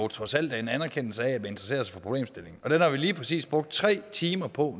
trods alt er en anerkendelse af interesserer os for problemstillingen og den har vi nu lige præcis brugt tre timer på